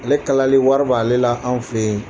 Ale kalali wari b'ale la an fɛ yen